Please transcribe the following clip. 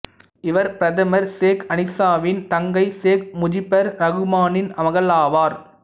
இவர் பிரதமர் சேக் அசீனாவின் தங்கை சேக் முஜிபுர் ரகுமானின் மகள் ஆவார்